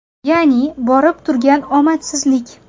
Ya’ni borib turgan omadsizlik.